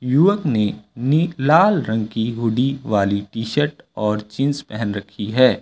युवक ने नि लाल रंग की हूंडी वाली टीशर्ट और जींस पहन रखी है।